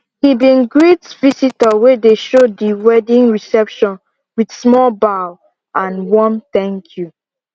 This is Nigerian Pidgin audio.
he bin greet visitor wey dey show di weddign reception with small bow and warm thank you